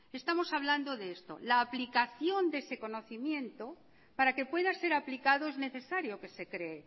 estamos hablando de esto la aplicación de ese conocimiento para que pueda ser aplicado es necesario que se cree